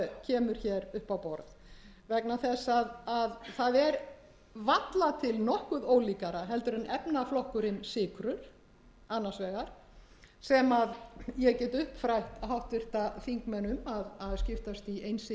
kemur hér upp á borð vegna þess að það er varla til nokkuð ólíkara heldur en efnaflokkur sykrur annars vegar sem ég get uppfrætt háttvirtir þingmenn um að skiptast